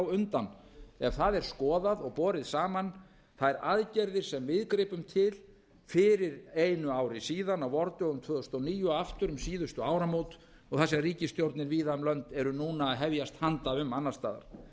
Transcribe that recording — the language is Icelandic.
á undan ef það er skoðað og borið saman þær aðgerðir sem við gripum til fyrir einu ári síðan á vordögum tvö þúsund og níu og aftur um síðustu áramót og það sem ríkisstjórnir víða um lönd eru núna að hefjast handa um annars staðar